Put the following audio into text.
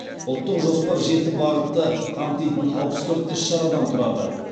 ұлттық жоспар жеті бағытты қамтитын алпыс төрт іс шарадан тұрады